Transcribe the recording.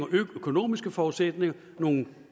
økonomiske forudsætninger nogle